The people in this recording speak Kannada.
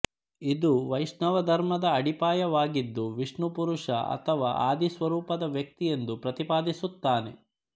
ಇದು ವೈಷ್ಣವ ಧರ್ಮದ ಅಡಿಪಾಯವಾಗಿದ್ದು ವಿಷ್ಣು ಪುರುಷ ಅಥವಾ ಆದಿಸ್ವರೂಪದ ವ್ಯಕ್ತಿ ಎಂದು ಪ್ರತಿಪಾದಿಸುತ್ತಾನೆ